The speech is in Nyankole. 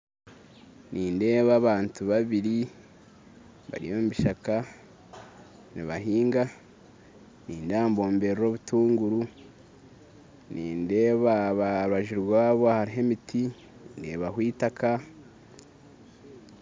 Nindeeba abantu babiri bari omubishaka nibahinga nindeeba nibomberera obutunguru nindeeba aharubaju rwabo hariho emiti ndeebaho eitaka